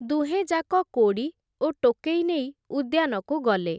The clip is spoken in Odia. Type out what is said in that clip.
ଦୁହେଁଯାକ କୋଡ଼ି ଓ ଟୋକେଇ ନେଇ, ଉଦ୍ୟାନକୁ ଗଲେ ।